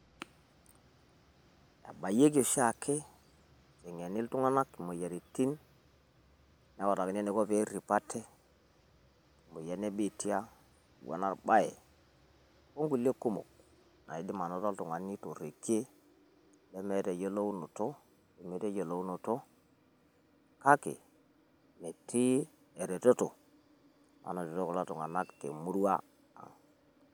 Ebayioki oshi ake eiteng'eni iltung'anak imoyiaritin neutakini enaiko pee errip ate te moyian e biitia o eno olbae o nkulie kumok. Naidim anoto oltung'ani to rrekie lemeeta eyiolounoto menoto eyiolounoto. Kake metii eretoto nanoto kulo tung'anak te murima.